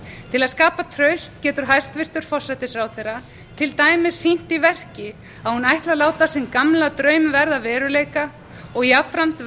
til að skapa traust getur hæstvirtur forsætisráðherra til dæmis sýnt í verki að hún ætli að láta sinn gamla draum verða að veruleika og jafnframt